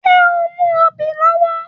Ṣé o mú obì lọ́wọ́